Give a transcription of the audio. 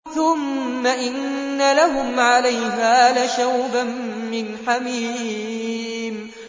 ثُمَّ إِنَّ لَهُمْ عَلَيْهَا لَشَوْبًا مِّنْ حَمِيمٍ